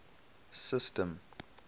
system